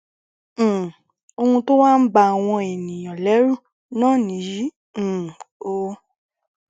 um ohun tó wá ń ba àwọn èèyàn lẹrù náà nìyí um o